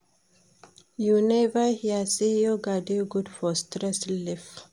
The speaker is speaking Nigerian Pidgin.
You never hear sey yoga dey good for stress relief?